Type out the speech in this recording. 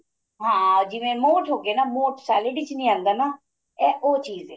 ਹਾਂ ਜਿਵੇਂ modes ਹੋ ਗਏ ਨਾ modes salad ਵਿੱਚ ਨੀਂ ਆਂਦਾ ਨਾ ਇਹ ਉਹ ਚੀਜ਼ ਏ